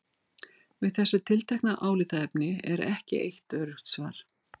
Við þessu tiltekna álitaefni er ekki eitt öruggt svar.